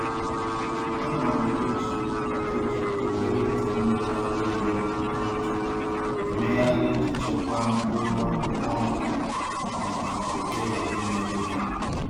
Ana m eji m eji obere ite mmiri ara ehi ntụ ntụ emegharị iji chekwaa mkpụrụ akwụkwọ nri m ka òké ghara imerụ ya.